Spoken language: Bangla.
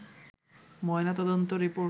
ময়না তদন্ত রিপোর্ট